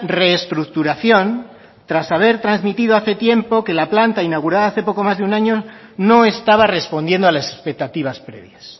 reestructuración tras haber transmitido hace tiempo que la planta inaugurada hace poco más de un año no estaba respondiendo a las expectativas previas